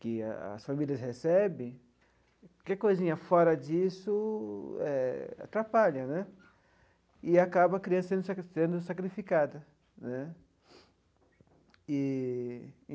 que a as famílias recebem, qualquer coisinha fora disso eh atrapalha né e acaba a criança sendo sacrifi sendo sacrificada né eee.